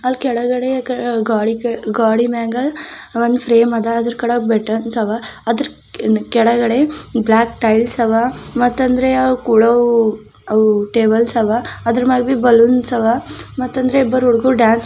ಅಲ್ ಕೆಳಗಡೆ ಕ ಗ್ವಾಡಿ ಕೆಳ ಗ್ವಾಡಿ ಮ್ಯಾಗ ಒಂದು ಫ್ರೇಮ್ ಅದ ಅದ್ರ ಕೆಳಗೆ ಬೆಟರ್ನ್ಸ್ ಅವ ಅದ್ರ ಕೆಳಗಡೆ ಬ್ಲಾಕ್ ಟೈಲ್ಸ್ ಅವ ಮತ್ತಂದ್ರೆ ಅವು ಕೂಡವು ಅವು ಟೇಬಲ್ಸ್ ಅವ ಅದ್ರಮೇಬಿ ಬಲೂನ್ಸ್ ಅವ ಮತ್ತಂದ್ರೆ ಇಬ್ಬರು ಹುಡುಗ್ರು ಡ್ಯಾನ್ಸ್ ಮಾ --